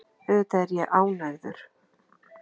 Auðvitað er ég ánægður.